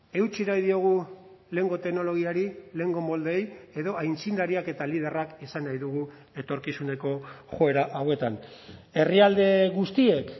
eutsi nahi diogu lehengo teknologiari lehengo moldeei edo aitzindariak eta liderrak izan nahi dugu etorkizuneko joera hauetan herrialde guztiek